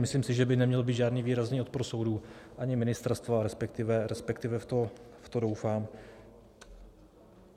Myslím si, že by neměl být žádný výrazný odpor soudů, ani ministerstva, respektive v to doufám.